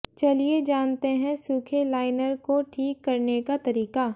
चलिए जानते हैं सूखे लाइनर को ठीक करने का तरीका